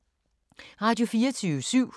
Radio24syv